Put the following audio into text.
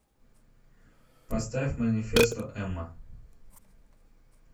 поставь манифесто эмма